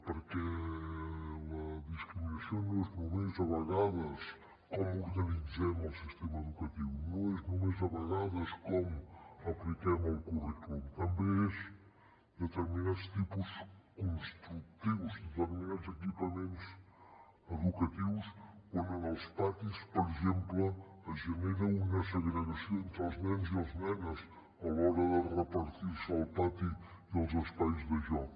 perquè la discriminació no és només a vegades com organitzem el sistema educatiu no és només a vegades com apliquem el currículum també és determinats tipus constructius determinats equipaments educatius on en els patis per exemple es genera una segregació entre els nens i les nenes a l’hora de repartir se el pati i els espais de joc